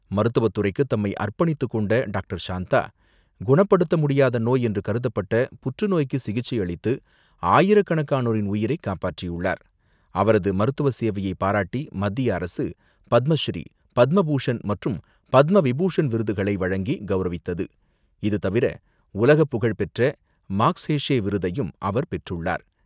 மருத்துவத்துறைக்கு தம்மை அர்ப்பணித்துக் கொண்ட டாக்டர் ஷாந்தா, குணப்படுத்த முடியாத நோய் என்று கருதப்பட்ட புற்றுநோய்க்கு சிகிச்சை அளித்து ஆயிரக்கணக்கான உயிர்களை காப்பாற்றியுள்ளார். அவரது மருத்துவ சேவையை பாராட்டி, மத்திய அரசு பத்மஸ்ரீ, பத்மபூஷண் மற்றும் பத்மவிபூஷன் விருதுகளை வழங்கி கௌரவித்தது. இது தவிர உலகப் புகழ்பெற்ற மாக்ஸேஷே விருதையும் அவர் பெற்றுள்ளார்.